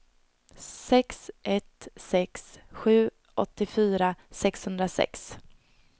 sex ett sex sju åttiofyra sexhundrasex